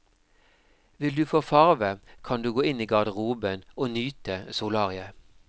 Vil du få farve, kan du gå inn i garderoben og nyte solariet.